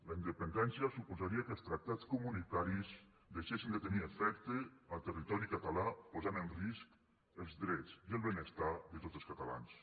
la independència suposaria que els tractats comunitaris deixessin de tenir efecte a territori català posant en risc els drets i el benestar de tots els catalans